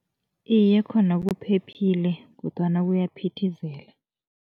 Iye, khona kuphephile kodwana kuyaphithizela.